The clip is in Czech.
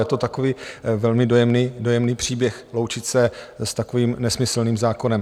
Je to takový velmi dojemný příběh, loučit se s takovým nesmyslným zákonem.